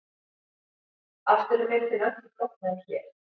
Aftur er myndin öllu flóknari hér.